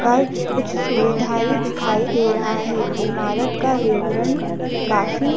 कल कुछ सुविधाएं दिखाई दे रहा है इमारत का विवरण काफी--